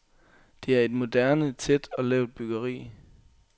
Det er et moderne tæt og lavt byggeri.